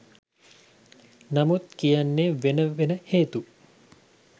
නමුත් කියන්නේ වෙන වෙන හේතු